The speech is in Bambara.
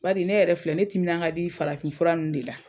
Bari ne yɛrɛ filɛ ,ne timina ka di farafin fura de la.